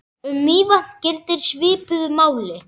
Um Mývatn gildir svipuðu máli.